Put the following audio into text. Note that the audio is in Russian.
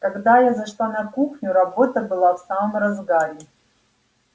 когда я зашла на кухню работа была в самом разгаре